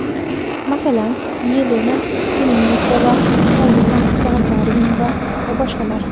Masalan, Yelena Temnikova, Polina Gagarina va boshqalar.